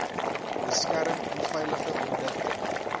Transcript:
beskerm onveilige produkte